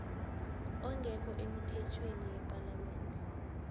ongekho emithethweni yepalamende